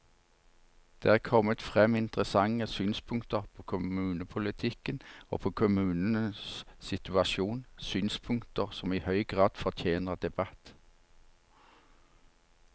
Det er kommet frem interessante synspunkter på kommunepolitikken og på kommunenes situasjon, synspunkter som i høy grad fortjener debatt.